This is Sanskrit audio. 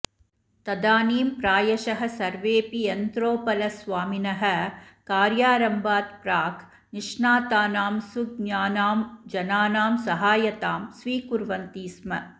तदानीं प्रायशः सर्वेऽपि यन्त्रोपलस्वामिनः कार्यारम्भात् प्राक् निष्णातानां सुज्ञानां जनानां सहायतां स्वीकुर्वन्ति स्म